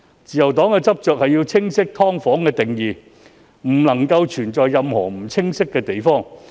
自由黨執着於清晰"劏房"的定義，以防存在任何不清晰之處。